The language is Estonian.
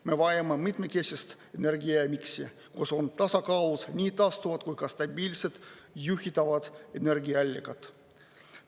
Me vajame mitmekesist energiamiksi, kus on tasakaalus nii taastuvad kui ka stabiilsed juhitavad energiaallikad.